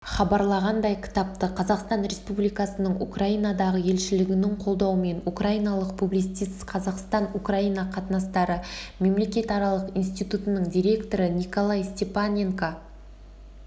хабарлағандай кітапты қазақстан республикасының украинадағы елшілігінің қолдауымен украиналық публицист қазақстан-украина қатынастары мемлекетаралық институтының директоры николай степаненко